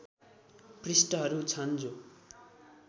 पृष्ठहरू छन् जो